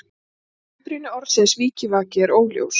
Uppruni orðsins vikivaki er óljós.